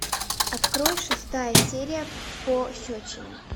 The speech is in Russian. открой шестая серия пощечина